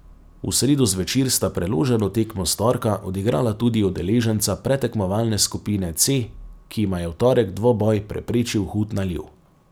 V sredo zvečer sta preloženo tekmo s torka odigrala tudi udeleženca predtekmovalne skupine C, ki jima je v torek dvoboj preprečil hud naliv.